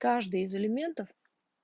каждый из элементов